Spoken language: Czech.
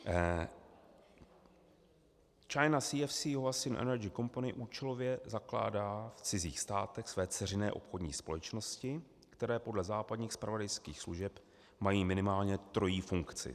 China CEFC Huaxin Energy Company účelově zakládá v cizích státech své dceřiné obchodní společnosti, které podle západních zpravodajských služeb mají minimálně trojí funkci.